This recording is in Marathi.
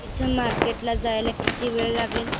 इथून मार्केट ला जायला किती वेळ लागेल